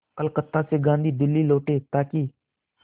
कलकत्ता से गांधी दिल्ली लौटे ताकि